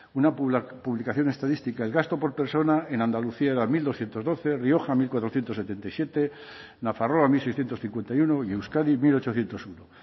una publicación estadística el gasto por persona en andalucía era mil doscientos doce rioja mil cuatrocientos setenta y siete nafarroa mil seiscientos cincuenta y uno y euskadi mil ochocientos uno